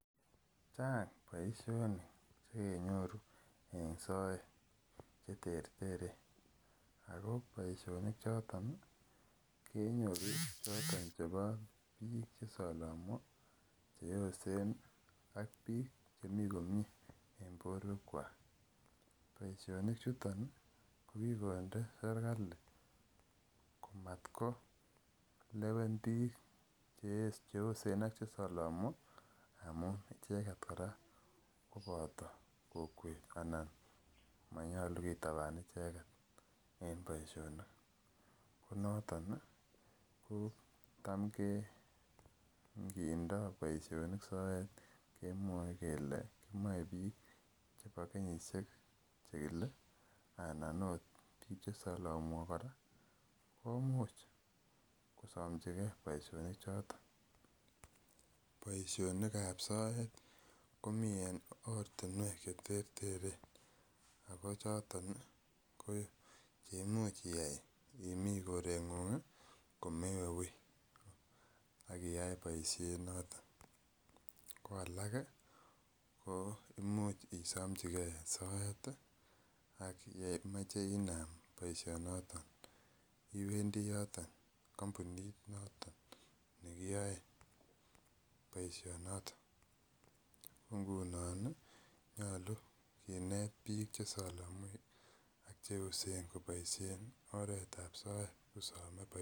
Chang boisionik chekenyoru en soet cheterteren. Ako boisionik choton che bo bik che salamwo, cheosen ak bik chemi komie. En boruek kuak. Boisionik chuton ih ko ki konde serkali boisionik chuton ih kokikonde serkali ko mat ko lewen bik cheosen ak che salamwo amuun icheket kora kobato kokwet. Manyalu kitaban icheket. En boisionik, konatonih tam ingidoh boisionik soet kemwoe kele kimaebik chebo kenyisiek chekile ak chekile anan ot bik che salamwo kora komuch kosamchike boisionik choton. Boisionikab soet komie en kasuek cheterteren ako choton ih imuch iyai imi koreng'ung ih komewe uui akoyae boisiet noton. Ko alak ih ko imuch isamchike soet ih yeimache inam boisiet noton, kampunit noto ko ngunon ih koyache kinet bik kityo sikobaisien oretab soet.